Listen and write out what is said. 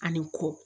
Ani kɔ